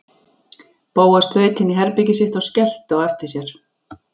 Bóas þaut inn í herbergið sitt og skellti á eftir sér.